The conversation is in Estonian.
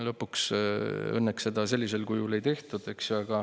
Lõpuks õnneks seda sellisel kujul ei tehtud, eks ju.